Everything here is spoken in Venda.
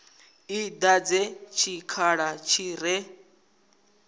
i dadze tshikhala tshi re